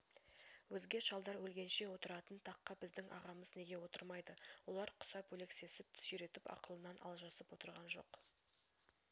өзге шалдар өлгенше отыратын таққа біздің ағамыз неге отырмайды олар құсап өлексесін сүйретіп ақылынан алжасып отырған жоқ